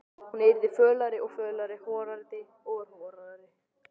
Hann yrði fölari og fölari, horaðri og horaðri.